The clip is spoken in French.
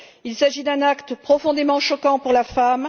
Il s'agit d'un acte profondément choquant pour la femme.